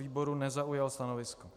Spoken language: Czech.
Výbor nezaujal stanovisko.